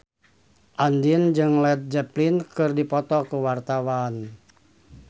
Andien jeung Led Zeppelin keur dipoto ku wartawan